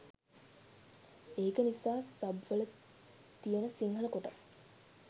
ඒක නිසා සබ්වල තියන සිංහල කොටස්